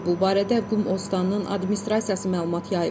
Bu barədə Qum Ostanının Administrasiyası məlumat yayıb.